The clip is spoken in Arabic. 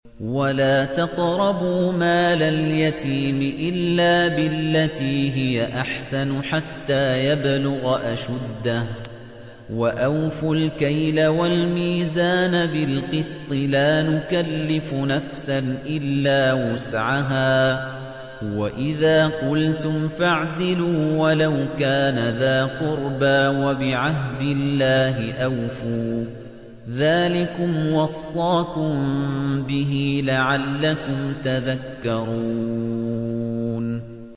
وَلَا تَقْرَبُوا مَالَ الْيَتِيمِ إِلَّا بِالَّتِي هِيَ أَحْسَنُ حَتَّىٰ يَبْلُغَ أَشُدَّهُ ۖ وَأَوْفُوا الْكَيْلَ وَالْمِيزَانَ بِالْقِسْطِ ۖ لَا نُكَلِّفُ نَفْسًا إِلَّا وُسْعَهَا ۖ وَإِذَا قُلْتُمْ فَاعْدِلُوا وَلَوْ كَانَ ذَا قُرْبَىٰ ۖ وَبِعَهْدِ اللَّهِ أَوْفُوا ۚ ذَٰلِكُمْ وَصَّاكُم بِهِ لَعَلَّكُمْ تَذَكَّرُونَ